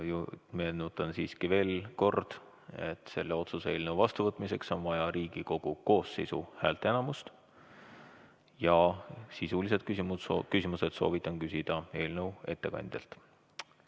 Meenutan siiski veel kord, et selle otsuse eelnõu vastuvõtmiseks on vaja Riigikogu koosseisu häälteenamust, ja sisulisi küsimusi soovitan küsida eelnõu ettekandjalt.